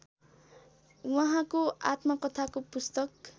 उहाँको आत्मकथाको पुस्तक